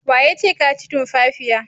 Wa yace ka ci tumfafiya?